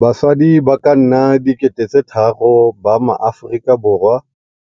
Basadi ba ka nna 3 000 ba maAforika Borwa